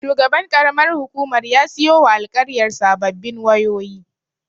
Shugaban ƙaramar hukumar ya siyowa alƙaryar sababbin wayoyi.